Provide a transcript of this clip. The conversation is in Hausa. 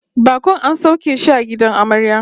Bakon an sauke shi a gidan amarya